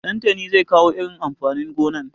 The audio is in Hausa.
Ɗantani zai kawo irin amfanin gonan.